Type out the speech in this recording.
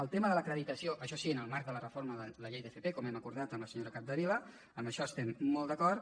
el tema de l’acreditació això sí en el marc de la reforma de la llei d’fp com hem acordat amb la senyora capdevila en això estem molt d’acord